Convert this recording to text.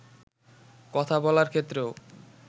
কথা বলার ক্ষেত্রেও